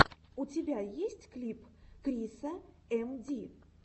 у тебя есть клип криса эм ди